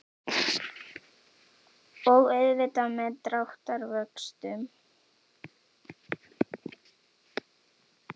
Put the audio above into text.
Og auðvitað með dráttarvöxtum.